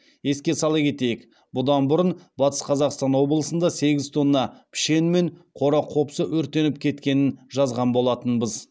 еске сала кетейік бұдан бұрын батыс қазақстан облысында сегіз тонна пішен мен қора қопсы өртеніп кеткенін жазған болатынбыз